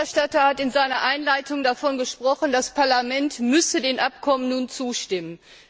Der Berichterstatter hat in seiner Einleitung davon gesprochen, das Parlament müsse den Abkommen nun zustimmen.